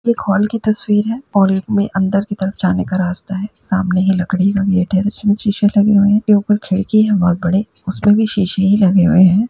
एक हॉल की तस्वीर है और एक मे अंदर की तरफ जाने का रास्ता है| सामने एक लकड़ी जिसमे शीशे लगे हुए हैं| ऊपर खिड़की है बहोत बड़े उसपे भी शीशे ही लगे हुए हैं।